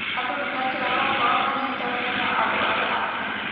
Andũ nĩ mekĩragwo ngoro manyitanĩre na andũ arĩa angĩ.